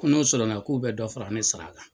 Ko nu sɔrɔna k'u bɛ dɔ fara ne sara kan.